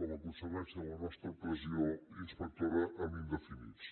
com a conseqüència de la nostra pressió inspectora en indefinits